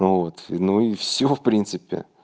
вот ну и всё в принципе